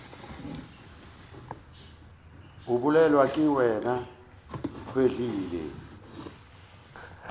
a bolelwa ke wena kehwile